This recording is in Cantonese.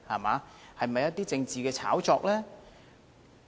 這是否政治的炒作？